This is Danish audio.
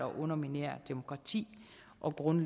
og bo